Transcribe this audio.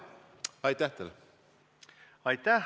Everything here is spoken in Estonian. Aitäh!